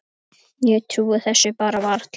Ég trúi þessu bara varla.